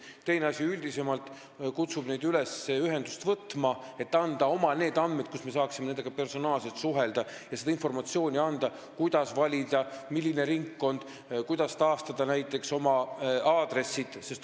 Aga me kutsume neid ka üldisemalt üles ühendust võtma, et nad annaksid meile oma andmed, et me saaksime nendega personaalselt suhelda ja anda neile informatsiooni, milline ringkond valida ja kuidas näiteks oma aadressi taastada.